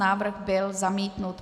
Návrh byl zamítnut.